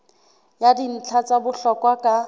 ya dintlha tsa bohlokwa ka